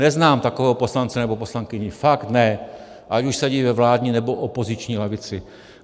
Neznám takového poslance nebo poslankyni, fakt ne, ať už sedí ve vládní, nebo opoziční lavici.